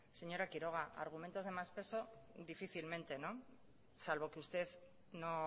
señora quiroga argumentos de más peso difícilmente salvo que usted no